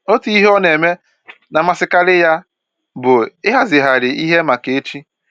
Otu ihe ọ na-eme na-amasịkarị ya bụ ịhazigharị ihe maka echi